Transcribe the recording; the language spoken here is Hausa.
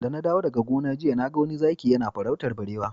Da na dawo daga gona jiya na ga wani zaki yana farautar barewa.